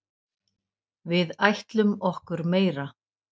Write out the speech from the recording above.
Við ætlum okkur meira.